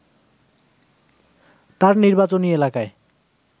তার নির্বাচনী এলাকায়